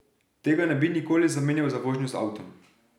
Tega ne bi nikoli zamenjal za vožnjo z avtom.